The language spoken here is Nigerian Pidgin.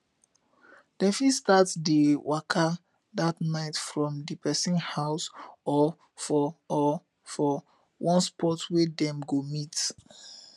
dem fit start dia waka dat nite from di pesin house or for or for one spot wey dem go meet